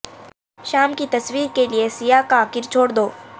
شام کی تصویر کے لئے سیاہ کاکر چھوڑ دو